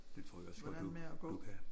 Det tror jeg også godt du du kan